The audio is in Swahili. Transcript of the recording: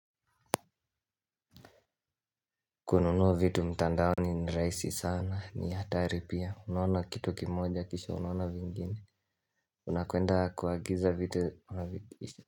Kununua vitu mtandaoni ni raisi sana ni hatari pia unaona kitu kimoja kisha unaona vingine unakuenda kuagiza vitu.